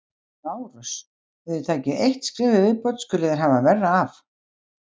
LÁRUS: Ef þér takið eitt skref í viðbót skuluð þér hafa verra af!